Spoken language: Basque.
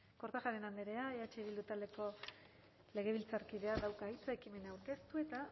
kortajarena andreak eh bildu taldeko legebiltzarkideak dauka hitza ekimena aurkeztu eta